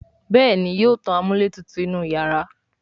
Béèni yóò tán amúlétutù inú iyàrá.